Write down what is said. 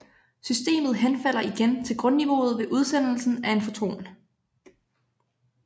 Systemet henfalder igen til grundniveauet ved udsendelse af en foton